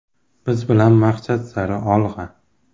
Biz bilan maqsad sari olg‘a!!!